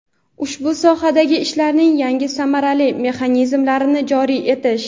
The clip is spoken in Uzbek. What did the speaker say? ushbu sohadagi ishlarning yangi samarali mexanizmlarini joriy etish;.